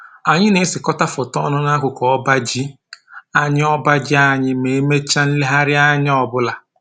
Anyị na-esekọta foto ọnụ n'akụkụ ọba ji anyị ọba ji anyị ma e mechaa nlegharịanya ọbụla